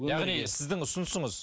яғни сіздің ұсынысыңыз